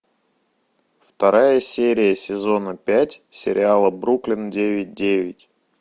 вторая серия сезона пять сериала бруклин девять девять